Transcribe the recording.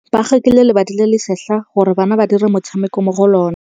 Ba rekile lebati le le setlha gore bana ba dire motshameko mo go lona.